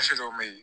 dɔw bɛ ye